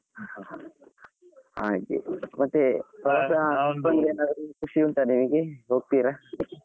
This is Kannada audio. ಹಾ ಹಾ ಹಾ ಹಾಗೆ ಮತ್ತೆ ಏನಾದ್ರು ಖುಷಿ ಉಂಟಾ ನಿಮಗೆ ಹೋಗ್ತೀರಾ?